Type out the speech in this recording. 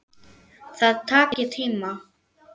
Það taki tíma.